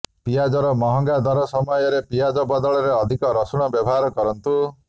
ପିଆଜର ମହଙ୍ଗା ଦର ସମୟରେ ପିଆଜ ବଦଳରେ ଅଧିକ ରସୁଣର ବ୍ୟବହାର କରନ୍ତୁ